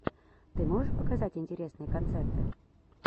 ты можешь показать интересные концерты